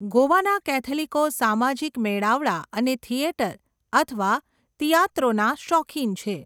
ગોવાના કૅથલિકો સામાજિક મેળાવડા અને થિયેટર અથવા ટિએટ્રોના શોખીન છે.